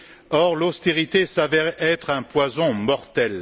Or, l'austérité s'avère être un poison mortel.